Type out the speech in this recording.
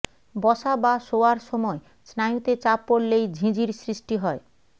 বসা বা শোয়ার সময় স্নায়ুতে চাপ পড়লেই ঝিঁঝির সৃষ্টি হয়